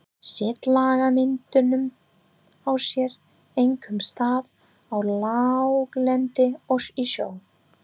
Setlagamyndun á sér einkum stað á láglendi og í sjó.